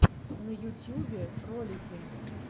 на ютьюбе ролики